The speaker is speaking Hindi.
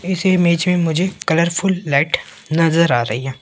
इस इमेज में मुझे कलरफुल लाइट नजर आ रही है।